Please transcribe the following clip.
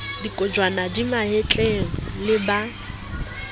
kojwana di mahetleng le ba